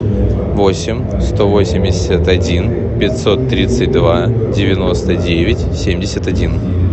восемь сто восемьдесят один пятьсот тридцать два девяносто девять семьдесят один